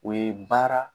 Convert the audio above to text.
O ye baara